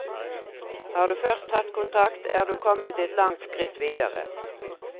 Har du først tatt kontakt, er du kommet et langt skritt videre.